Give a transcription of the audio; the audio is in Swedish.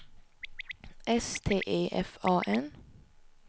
S T E F A N